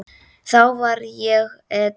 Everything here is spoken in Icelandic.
Þá var ég edrú.